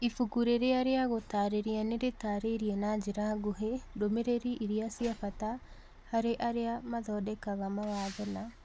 Ibuku rĩrĩ rĩa gũtaarĩria nĩ rĩtaarĩirie na njĩra nguhĩ ndũmĩrĩri iria cia bata harĩ arĩa mathondekaga mawatho na